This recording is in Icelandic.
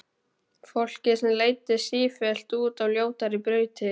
Fólki sem leiddist sífellt út á ljótari brautir.